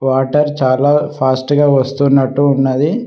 Water చాలా fast గా వస్తున్నట్టు ఉన్నది.